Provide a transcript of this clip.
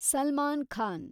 Salman Khan